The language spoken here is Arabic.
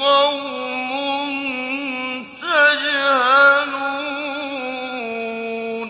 قَوْمٌ تَجْهَلُونَ